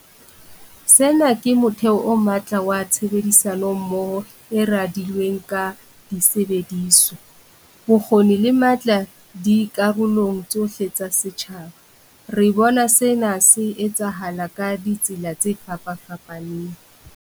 Sena ke motheo o matla wa tshebedisano mmoho e radilweng ka disebediswa, bokgoni le matla dikarolong tsohle tsa setjhaba. Re bona sena se etsahala ka ditsela tse fapafapaneng.